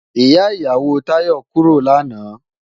Ìyá ìyàwó Táyọ̀ kúrò lánàá